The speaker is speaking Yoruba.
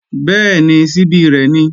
Bẹ́ẹ̀ni, ṣíbí rẹ̀ ni